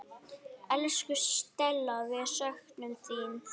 Elsku Stella, við söknum þín.